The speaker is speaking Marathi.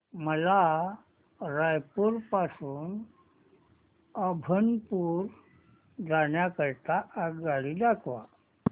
मला रायपुर पासून अभनपुर जाण्या करीता आगगाडी दाखवा